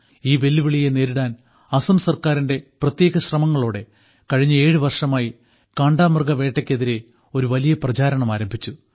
ഈ വെല്ലുവിളിയെ നേരിടാൻ അസം സർക്കാരിന്റെ പ്രത്യേക ശ്രമങ്ങളോടെ കഴിഞ്ഞ ഏഴു വർഷമായി കാണ്ടാമൃഗവേട്ടയ്ക്കെതിരെ ഒരു വലിയ പ്രചാരണം ആരംഭിച്ചു